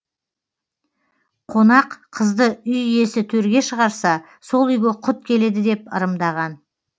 қонақ қызды үй иесі төрге шығарса сол үйге құт келеді деп ырымдаған